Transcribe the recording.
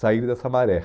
sair dessa maré.